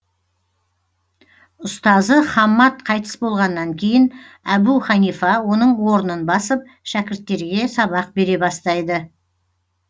ұстазы хаммад қайтыс болғаннан кейін әбу ханифа оның орнын басып шәкірттерге сабақ бере бастайды